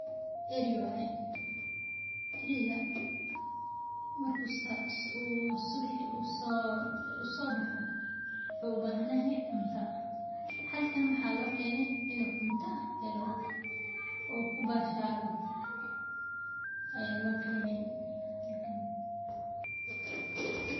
Eri waye , eriga marki uu subixi sobaxo wuxu ubahanyahasy cunta, halkan waxaa lokene in uu cunta helo uu ku bashalo ayaa lo kene